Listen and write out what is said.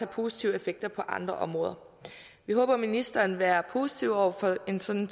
positive effekter på andre områder vi håber ministeren vil være positiv over for en sådan